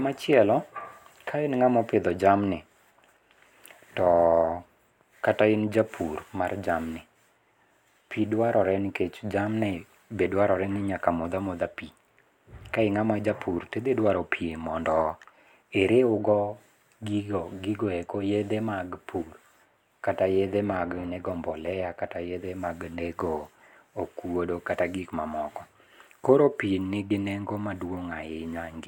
Machielo, ka in ng'ama opidho jamni, kata in japur mar jamni, pi dwarore nikech jamni be dwarore ni nyaka modh amodha pi. Ka ing'ama japur, tidhi dwaro pi mondo iriwgo gigo eko yedhe mag pur kata yedhe mag nego mbolea kata yedhe mag nego okuodo kata gik mamoko. Koro pi nigi nengo maduong' ahinya e ngima.